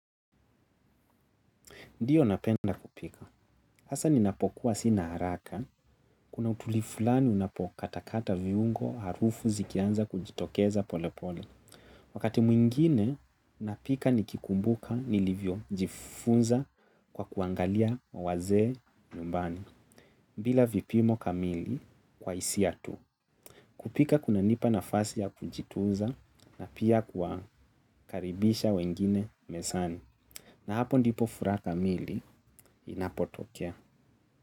Ndiyo napenda kupika, hasa ninapokuwa sina haraka, kuna utulivu fulani unapo katakata viungo harufu zikianza kujitokeza pole pole. Wakati mwingine, napika nikikumbuka nilivyo jifunza kwa kuangalia wazee nyumbani, bila vipimo kamili kwa hisia tu. Kupika kuna nipa nafasi ya kujituza na pia kwa kukaribisha wengine mezani. Na hapo ndipo furaha kamili inapotokea.